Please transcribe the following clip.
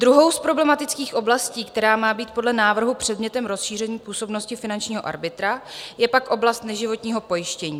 Druhou z problematických oblastí, která má být podle návrhu předmětem rozšíření působnosti finančního arbitra, je pak oblast neživotního pojištění.